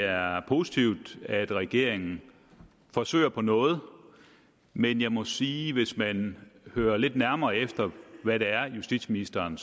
er positivt at regeringen forsøger på noget men jeg må sige at hvis man hører lidt nærmere efter hvad det er justitsministeren